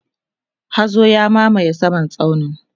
hazo ya mamaye saman tsaunin